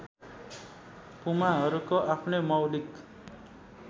पुमाहरूको आफ्नै मौलिक